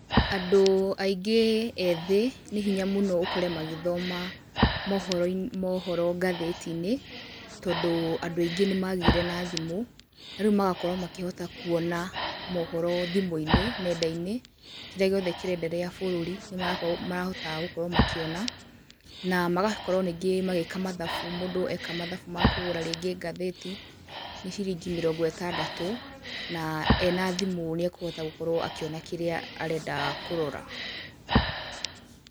Andũ aingĩ ethĩ, nĩhinya mũno ũkore magĩthoma mohoroinĩ, mohoro ngathĩtinĩ, tondũ andũ aingĩ nĩmagĩire na thimũ, na rĩu magakorwo makĩhota kuona mohoro thimũinĩ, nendainĩ, kĩrĩa gĩothe kĩrenderea bũrũri nĩmarako marahotaga gũkorwo makĩona, na magakorwo ningĩ magĩka mathabu mũndũ eka mathabu makũgara rĩngĩ kũgũra ngathĩti nĩ ciringi mĩrongo ĩtandatũ, na ena thimũ nĩakũhota gũkorwo akĩona kĩrĩa arenda kũrora.